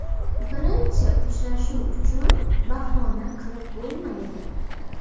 Birinchi uchrashuv uchun bahona qilib bo‘lmaydi.